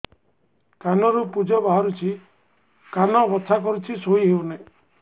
କାନ ରୁ ପୂଜ ବାହାରୁଛି କାନ ବଥା କରୁଛି ଶୋଇ ହେଉନାହିଁ